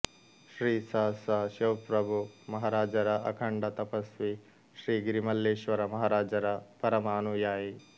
ಶ್ರೀ ಸ ಸ ಶಿವಪ್ರಭು ಮಹಾರಾಜರ ಅಖಂಡ ತಪಸ್ವಿ ಶ್ರೀ ಗಿರಿಮಲ್ಲೇಶ್ವರ ಮಹಾರಾಜರ ಪರಮ ಅನುಯಾಯಿ